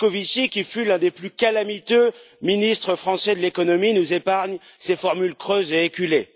Moscovici, qui fut l'un des plus calamiteux ministres français de l'économie, nous épargne ses formules creuses et éculées.